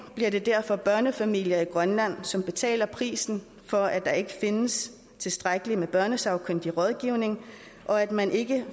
bliver det derfor børnefamilier i grønland som betaler prisen for at der ikke findes tilstrækkelig børnesagkyndig rådgivning og at man ikke